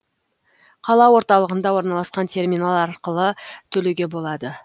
қала орталығында орналасқан терминал арқылы төлеуге болады